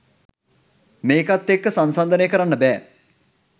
මේකත් එක්ක සංසංදනය කරන්න බෑ